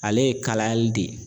Ale ye kalayali de ye